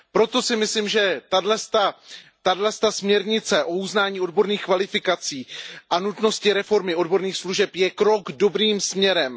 Proto si myslím, že tato směrnice o uznání odborných kvalifikací a nutnosti reformy odborných služeb je krok dobrým směrem.